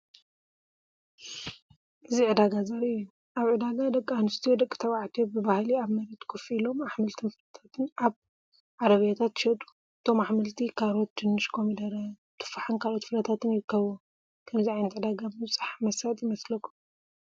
እዚ ዕዳጋ ዘርኢ እዩ። ኣብ ዕዳጋ ደቂ ኣንስትዮን ደቂ ተባዕትዮን ብባህሊ ኣብ መሬት ኮፍ ኢሎም ኣሕምልትን ፍረታትን ኣብ ዓረብያታት ይሸጡ። እቶም ኣሕምልቲ ካሮት፡ ድንሽ፡ ኮሚደረ፡ ቱፋሕን ካልኦት ፍረታትን ይርከብዎም። ከምዚ ዓይነት ዕዳጋ ምብጻሕ መሳጢ ይመስለኩም?